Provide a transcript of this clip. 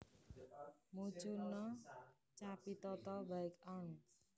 Mucuna capitata Wight Arn